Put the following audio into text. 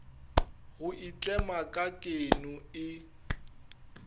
go itlema ka keno e